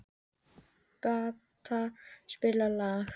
Bertha, spilaðu lag.